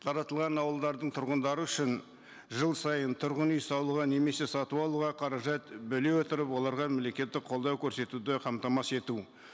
таратылған ауылдардың тұрғындары үшін жыл сайын тұрғын үй салуға немесе сатып алуға қаражат бөле отырып оларға мемлекеттік қолау көрсетуді қамтамасыз ету